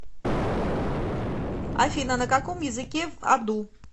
афина на каком языке в аду